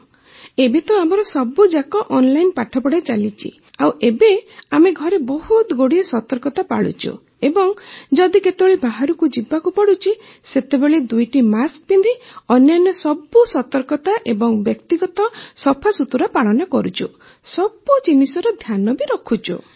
ହଁ ଏବେ ତ ଆମର ସବୁଯାକ ଅନଲାଇନ ପାଠପଢ଼ା ଚାଲିଛି ଆଉ ଏବେ ଆମେ ଘରେ ବହୁତ ଗୁଡ଼ାଏ ସତର୍କତା ପାଳୁଛୁ ଏବଂ ଯଦି କେତେବେଳେ ବାହାରକୁ ଯିବାକୁ ପଡ଼ୁଛି ସେତେବେଳେ ଦୁଇଟି ମାସ୍କ ପିନ୍ଧି ଅନ୍ୟାନ୍ୟ ସବୁ ସତର୍କତା ଏବଂ ବ୍ୟକ୍ତିଗତ ସଫାସୁତୁରା ପାଳନ କରୁଛୁ ସବୁ ଜିନିଷର ଧ୍ୟାନ ରଖୁଛୁ